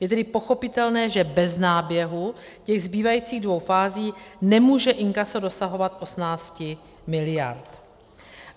Je tedy pochopitelné, že bez náběhu těch zbývajících dvou fází nemůže inkaso dosahovat 18 mld.